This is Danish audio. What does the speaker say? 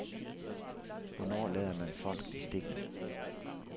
Hvornår lader man folk i stikken.